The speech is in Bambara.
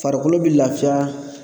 Farikolo bɛ lafiya